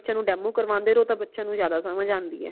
ਬੱਚਿਆਂ ਨੂ demo ਕਰਵਾਂਦੇ ਰਹੋ ਤਾ ਬੱਚਿਆਂ ਨੂ ਜ਼ਿਆਦਾ ਸਮਝ ਆਂਦੀ ਹੈ